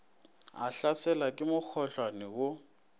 a hlaselwa ke mokhohlwane wo